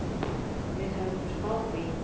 Við höfðum spáð því.